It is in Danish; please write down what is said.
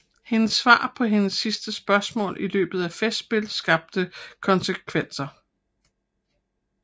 Hendes svar på hendes sidste spørgsmål i løbet af festspil skabt kontroverser